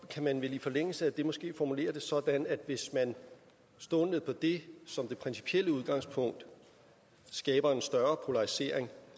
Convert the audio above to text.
kan man vel i forlængelse af det måske formulere det sådan hvis man står på det som det principielle udgangspunkt og skaber en større polarisering